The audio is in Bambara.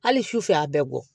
Hali su fɛ a bɛ bɔ